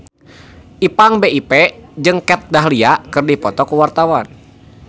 Ipank BIP jeung Kat Dahlia keur dipoto ku wartawan